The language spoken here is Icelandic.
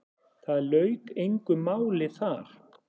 Það lauk engu máli þar.